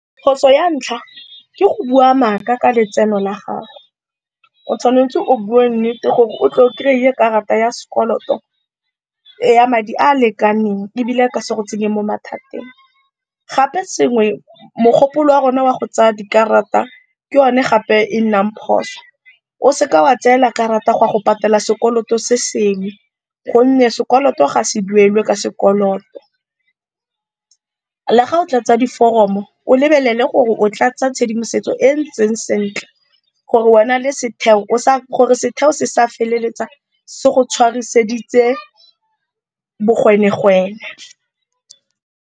Phoso ya ntlha ke go bua maaka ka letseno la gago, o tshwanetse o bue nnete gore o tle o kry-e karata ya sekoloto ya madi a lekaneng ebile a ka se go tsenye mo mathateng. Gape sengwe, mogopolo wa rona wa go tsaya dikarata ke yone gape e nang phoso, o seka wa tseela karata go ya go patela sekoloto se sengwe gonne sekoloto ga se duelwe ka sekoloto. Le ga o tlatsa diforomo, o lebelele gore o tlatsa tshedimosetso e e ntseng sentle gore setheo se sa feleletsa se go tshwariseditse bogwenegwene.